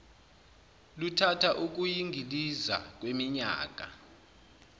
luthatha ukuyingiliza kweminyaka